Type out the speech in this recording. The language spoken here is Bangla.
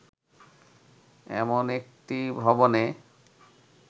এমন একটি ভবনে